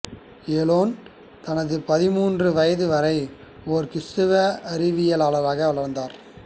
Ellen தனது பதிமூன்று வயது வரை ஒரு கிறிஸ்துவ அறிவியலாளராக வளர்ந்தார்